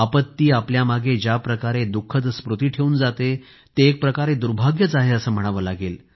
आपत्ती आपल्यामागे ज्या प्रकारे दुःखद स्मृती ठेवून जाते ते एकप्रकारे दुर्भाग्यच आहे असं म्हणावं लागेल